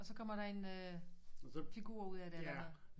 Og så kommer der en øh figur ud af det eller noget